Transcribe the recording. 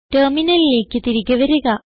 ടെർമിനലിലേക്ക് തിരികെ വരിക